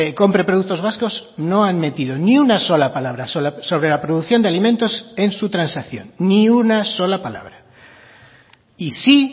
compre productos vascos no han metido ni una sola palabra sobre la producción de alimentos en su transacción ni una sola palabra y sí